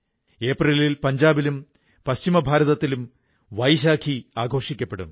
ഏപ്രിലിൽ പഞ്ചാബിലും പശ്ചിമ ഭാരതത്തിലും വൈശാഖി ആഘോഷിക്കപ്പെടും